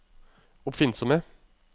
oppfinnsomme